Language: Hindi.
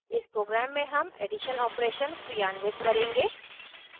इस program में हम एडिशन operation क्रियान्वित करेंगे